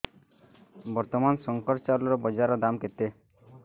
ବର୍ତ୍ତମାନ ଶଙ୍କର ଚାଉଳର ବଜାର ଦାମ୍ କେତେ